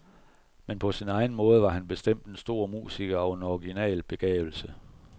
Men på sin egen måde var han bestemt en stor musiker og en original begavelse.